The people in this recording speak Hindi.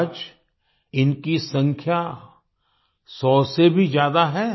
आज इनकी संख्या सौ से भी ज्यादा है